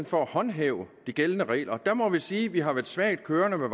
for at håndhæve de gældende regler at gøre der må vi sige at vi har været svagt kørende med